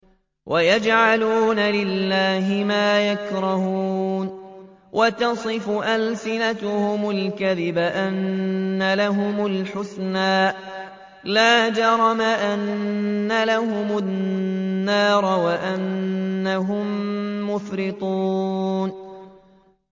وَيَجْعَلُونَ لِلَّهِ مَا يَكْرَهُونَ وَتَصِفُ أَلْسِنَتُهُمُ الْكَذِبَ أَنَّ لَهُمُ الْحُسْنَىٰ ۖ لَا جَرَمَ أَنَّ لَهُمُ النَّارَ وَأَنَّهُم مُّفْرَطُونَ